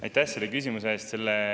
Aitäh selle küsimuse eest!